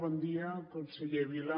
bon dia conseller vila